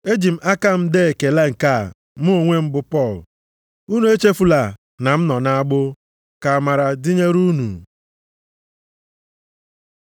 Eji m aka m dee ekele nke a mụ onwe m bụ Pọl. Unu echefula na m nọ nʼagbụ. Ka amara dịnyere unu.